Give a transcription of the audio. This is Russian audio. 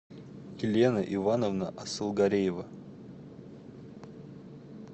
елена ивановна асылгареева